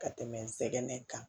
Ka tɛmɛ n sɛgɛn kan